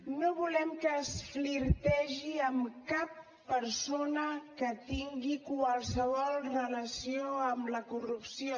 no volem que es flirtegi amb cap persona que tingui qualsevol relació amb la corrupció